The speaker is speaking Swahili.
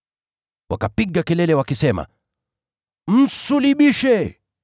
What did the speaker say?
Wakapiga kelele wakisema, “Msulubishe!”